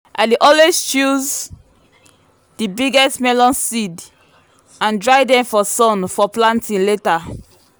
i dey always choose the biggest melon seeds and dry them for sun for planting later.